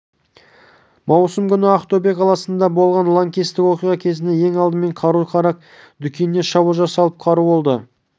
маусым күні ақтөбе қаласында болған лаңкестік оқиға кезінде ең алдымен қару-жарақ дүкеніне шабуыл жасалып қару қолды